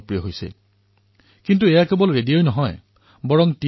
কিন্তু এয়া কেৱল ৰেডিঅই নহয় যাৰ দ্বাৰা জনতা এই কাৰ্যসূচীৰ সৈতে জড়িত হব পাৰিছে